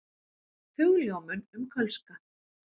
Hugljómun um kölska.